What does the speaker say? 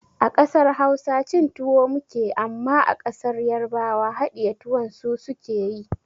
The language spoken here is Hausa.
A ƙasar Hausa cin tuwo muke amma a ƙasar yarbawa haɗiye tuwon su suke yi